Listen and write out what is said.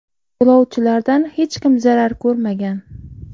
Yo‘lovchilardan hech kim zarar ko‘rmagan.